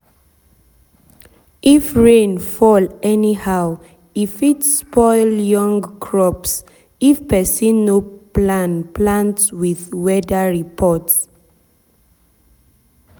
if rain fall anyhow e fit spoil young crops if person no plan plant with weather report.